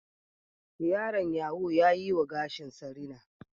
Yaron yaho ya yi wa gashinsa rina